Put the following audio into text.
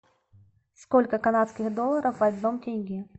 сколько канадских долларов в одном тенге